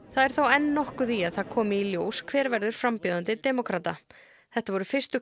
það er þó enn nokkuð í að það komi ljós hver verður frambjóðandi demókrata þetta voru fyrstu